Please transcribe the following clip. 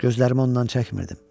Gözlərimi ondan çəkmirdim.